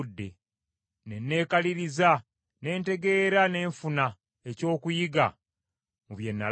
Ne neekaliriza ne ntegeera ne nfuna ekyokuyiga mu bye nalaba.